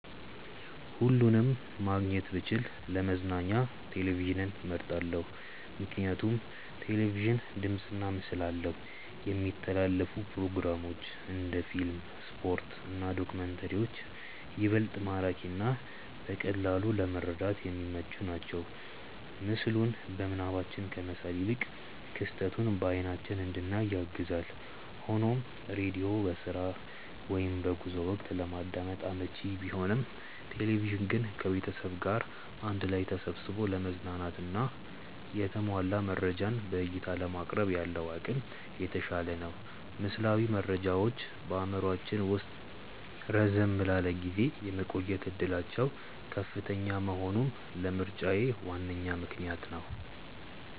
ሁለቱንም ማግኘት ብችል ለመዝናኛ ቴሌቪዥንን መርጣለው። ምክንያቱም ቴሌቪዥን ድምፅና ምስል አለው፣ የሚተላለፉ ፕሮግራሞች (እንደ ፊልም፣ ስፖርት እና ዶክመንተሪዎች) ይበልጥ ማራኪና በቀላሉ ለመረዳት የሚመቹ ናቸው። ምስሉን በምናባችን ከመሳል ይልቅ ክስተቱን በአይናችን እንድናይ ያግዛል። ሆኖም ሬዲዮ በስራ ወይም በጉዞ ወቅት ለማዳመጥ አመቺ ቢሆንም፣ ቴሌቪዥን ግን ከቤተሰብ ጋር አንድ ላይ ተሰብስቦ ለመዝናናትና የተሟላ መረጃን በዕይታ ለማቅረብ ያለው አቅም የተሻለ ነው። ምስላዊ መረጃዎች በአእምሯችን ውስጥ ረዘም ላለ ጊዜ የመቆየት ዕድላቸው ከፍተኛ መሆኑም ለምርጫዬ ዋነኛ ምክንያት ነው።